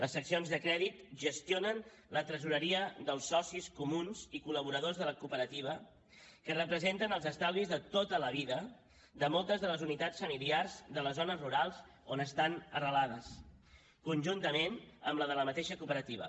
les seccions de crèdit gestionen la tresoreria dels socis comuns i col·laboradors de la cooperativa que representen els estalvis de tota la vida de moltes de les unitats familiars de les zones rurals on estan arrelades conjuntament amb la de la mateixa cooperativa